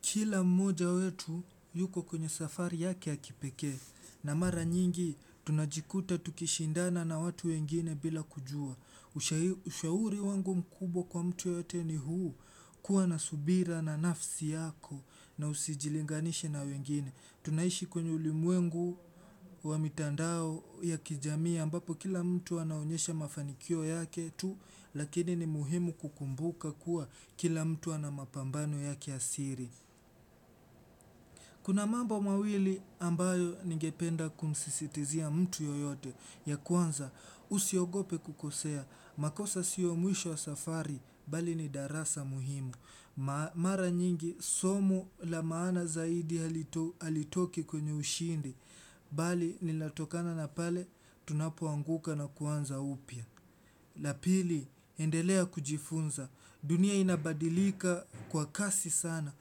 Kila mmoja wetu yuko kwenye safari yake ya kipekee na mara nyingi tunajikuta tukishindana na watu wengine bila kujua. Ushauri wangu mkubwa kwa mtu yoyote ni huu kuwa na subira na nafsi yako na usijilinganishe na wengine. Tunaishi kwenye ulimwengu wa mitandao ya kijamii ambapo kila mtu anaonyesha mafanikio yake tu lakini ni muhimu kukumbuka kuwa kila mtu ana mapambano yake asiri. Kuna mambo mawili ambayo ningependa kumsisitizia mtu yoyote ya kwanza, usiogope kukosea, makosa siyo mwisho wa safari, bali ni darasa muhimu, mara nyingi somo la maana zaidi halitoki kwenye ushindi, bali linatokana na pale, tunapoanguka na kuanza upya. La pili, endelea kujifunza. Dunia inabadilika kwa kasi sana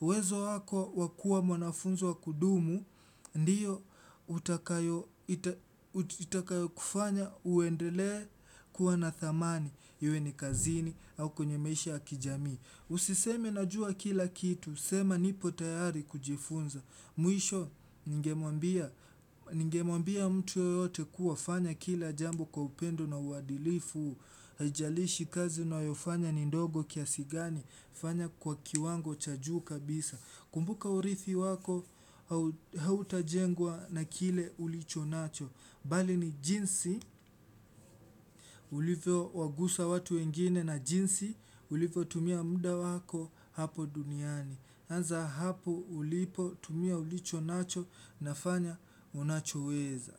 uwezo wako wakua mwanafunzi wa kudumu. Ndiyo, utakayo kufanya uendelee kuwa na thamani iwe ni kazini au kwenye maisha ya kijamii. Usiseme na jua kila kitu. Sema nipo tayari kujifunza. Mwisho, ningemwambia mtu yoyote kuwa fanya kila jambo kwa upendo na uwadilifu. Haijalishi kazi unayofanya ni ndogo kiasigani. Fanya kwa kiwango cha juu kabisa. Kumbuka urithi wako. Hautajengwa na kile ulicho nacho bali ni jinsi ulivyo wagusa watu wengine na jinsi ulivyo tumia muda wako hapo duniani. Anza hapo ulipo tumia ulicho nacho na fanya unachoweza.